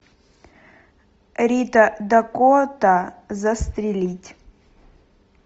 рита дакота застрелить